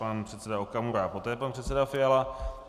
Pan předseda Okamura a poté pan předseda Fiala.